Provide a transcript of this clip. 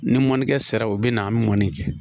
Ni mɔnikɛ sera u bɛ na an bɛ mɔnni kɛ